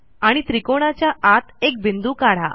आणि त्रिकोणाच्या आत एक बिंदू काढा